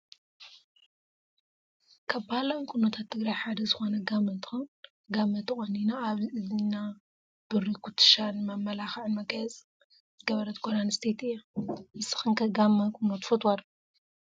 ካብ ባህላዊ ቁኖታት ትግራይ ሓደ ዝኮነ ጋመ እንትከውን ጋመ ተቆኒና ኣብ እዝና ብሪ ኩቱሻ ንመመላክዕን መጋየፅን ዝገበረት ጓል ኣንስተቲ እያ። ንስክን ከ ጋመ ቁኖ ትፈትዋ ዶ ?